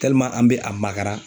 an be a magara